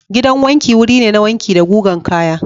Gidan wanki wuri ne na wanki da gugan kaya.